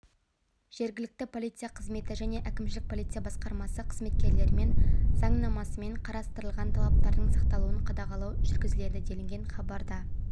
жергілікті полиция қызметі және әкімшілік полиция басқармасы қызметкерлерімен заңнамасымен қарастырылған талаптардың сақталуын қадағалау жүргізіледі делінген хабарда